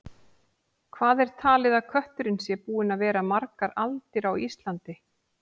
Hvað er talið að kötturinn sé búinn að vera margar aldir á Íslandi?